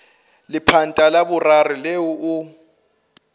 lepanta la boraro leo o